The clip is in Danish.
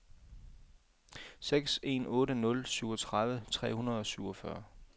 seks en otte nul syvogtredive tre hundrede og syvogfyrre